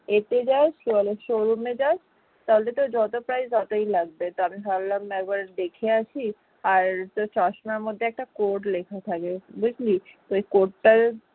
তাহলে তো যত price ততই লাগবে আর আমি ভাবলাম যে একবার দেখে আসি আর চশমার মধ্যে একটা code লেখা থাকে বুঝলি। ওই code টার